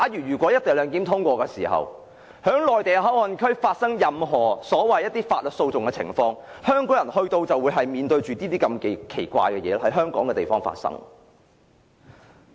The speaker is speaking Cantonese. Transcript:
如果"一地兩檢"獲得通過，在面對於內地口岸區發生的任何法律訴訟時，香港人便要面對這些奇怪事情在香港境內發生。